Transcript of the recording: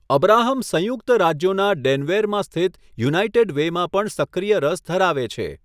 Abraham સંયુક્ત રાજ્યોના ડેનવેરમાં સ્થિત યુનાઇટેડ વેમાં પણ સક્રિય રસ ધરાવે છે.